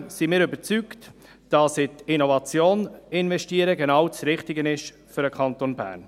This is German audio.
Zudem sind wir überzeugt, dass in Innovation investieren genau das Richtige ist für den Kanton Bern.